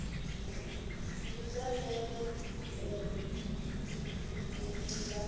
ndi zwa ndeme u ḓivha